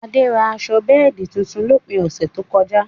Adé rà aṣọ bẹẹdi tuntun lópin ọṣẹ tó kọ̀ja.